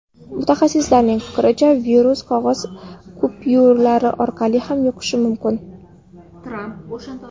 Mutaxassislarning fikricha, virus qog‘oz kupyuralar orqali ham yuqishi mumkin.